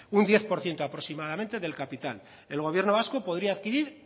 un diez por ciento aproximadamente del capital el gobierno vasco podría adquirir